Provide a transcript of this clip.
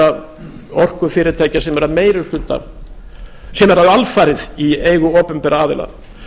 framsalsréttinda orkufyrirtækja sem eru alfarið í eigu opinberra aðila